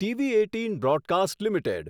TV eighteen broadcast limited